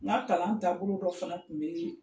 N ka kalan taabolo dɔ fana tun bɛ